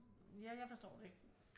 Ja jeg forstår det ikke